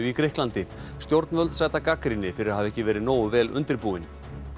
í Grikklandi stjórnvöld sæta gagnrýni fyrir að hafa ekki verið nógu vel undirbúin